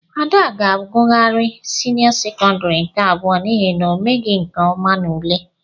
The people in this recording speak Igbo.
Ada ga-agughari senio sekondari nke abụọ n'ihi na omeghi nke ọma n'ule.